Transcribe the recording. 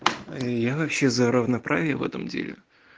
я вообще за равноправие в этом деле